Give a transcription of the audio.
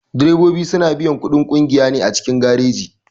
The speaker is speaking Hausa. Direbobi suna biyan kuɗin ƙungiya ne a cikin gareji.